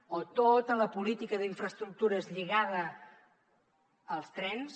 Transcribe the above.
o tota la política d’infraestructures lligada als trens